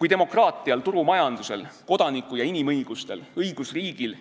Kui demokraatial, turumajandusel, kodaniku- ja inimõigustel, õigusriigil